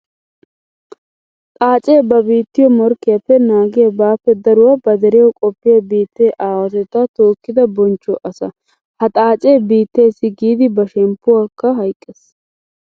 Xaace ba biittiyo morkkiyappe naagiya bappe daruwa ba deriyawu qofiya biitte aawatetta tookidda bonchcho asaa. Ha xaace ba biittessi giidi ba shemppuwakka hayqqes.